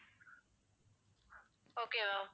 okay ma'am